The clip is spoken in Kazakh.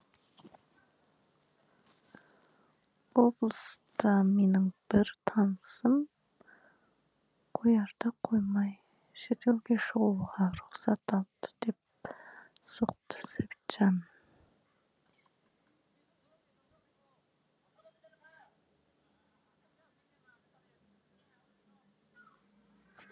облыста менің бір танысым қоярда қоймай шетелге шығуға рұқсат алды деп соқты сәбитжан